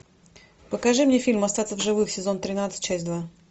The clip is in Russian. покажи мне фильм остаться в живых сезон тринадцать часть два